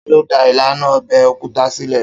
Ta ló dá ìlànà ọbẹ̀ òkúta sílè